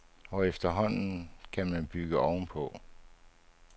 Og efterhånden kan man bygge ovenpå.